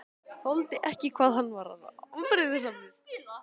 Þoldi ekki hvað hann var afbrýðisamur.